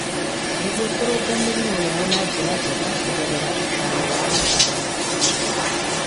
Nĩguo kũrũnga mĩrimũ yao na njĩra njega kũgerera ũtaaro wa ataaramu.